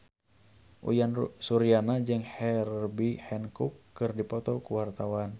Uyan Suryana jeung Herbie Hancock keur dipoto ku wartawan